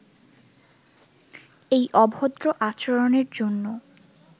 এই অভদ্র আচরণের জন্য